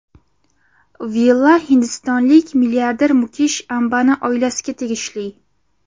Villa hindistonlik milliarder Mukesh Ambani oilasiga tegishli.